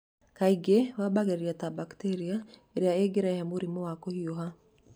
Kaingĩ wambagĩrĩria ta bacteria ĩrĩa ĩngĩrehe mũrimũ ta wa kũhiũha.